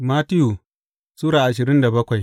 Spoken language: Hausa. Mattiyu Sura ashirin da bakwai